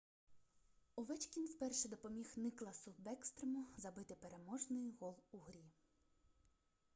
овечкін вперше допоміг никласу бекстрему забити переможний гол у грі